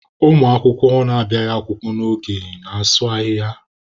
Ụmụ akwụkwọ na-abịaghị akwụkwọ n'oge na-asụ ahịhịa.